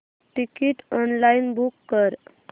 ticket online book कर